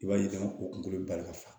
I b'a ye k'a fɔ kolo bali ka fa